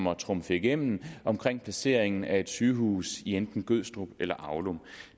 at trumfe igennem omkring placeringen af et sygehus i enten gødstrup eller aulum